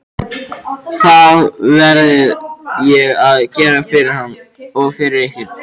Það verði ég að gera fyrir hann og fyrir ykkur!